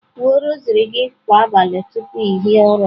Kwuo rosary gị kwa abalị tupu ị hie ụra!.